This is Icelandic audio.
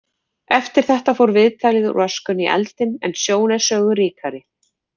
Eftir þetta fór viðtalið úr öskunni í eldinn en sjón er sögu ríkari.